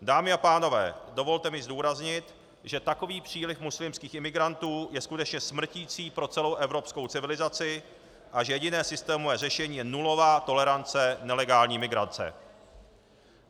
Dámy a pánové, dovolte mi zdůraznit, že takový příliv muslimských imigrantů je skutečně smrtící pro celou evropskou civilizaci a že jediné systémové řešení je nulová tolerance nelegální imigrace.